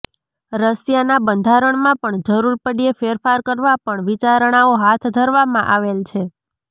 રશિયાનાં બંધારણમાં પણ જરૂર પડયે ફેરફાર કરવા પણ વિચારણાઓ હાથ ધરવામાં આવેલ છે